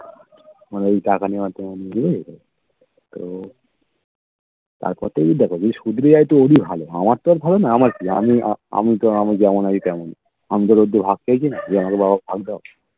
মানে এই টাকা নেওয়ার তো ভুলে যেত তো তারপর তুমি দেখো যদি শুধরে যায় তো ওরই ভালো আমার তো আর ভালোনা আমার কি আমি আমিতো আমি যেমন আছি তেমনই আমি তো আর ভাগ চাইছি না যে আমাকে দাও ভাগ দাও